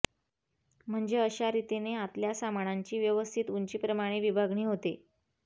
म्हणजे अशा रितीने आतल्या सामानांची व्यवस्थित उंचीप्रमाणे विभागणी होते